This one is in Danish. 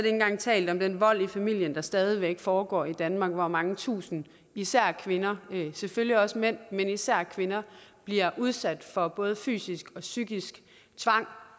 engang talt om den vold i familien der stadig væk foregår i danmark hvor mange tusinde især kvinder og selvfølgelig også mænd men især kvinder bliver udsat for både fysisk og psykisk tvang